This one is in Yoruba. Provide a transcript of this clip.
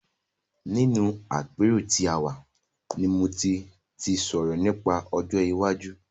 Nínú àpérò tí a wà ni mo ti sọ̀rọ̀ nípa ọjọ́ iwájú.